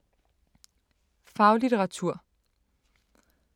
Faglitteratur